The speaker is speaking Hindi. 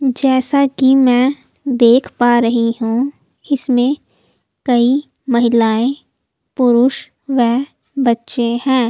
जैसा कि मैं देख पा रही हूं इसमें कई महिलाएं पुरुष व बच्चे हैं।